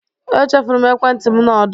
Echefuru m ekwentị m na ọdụ.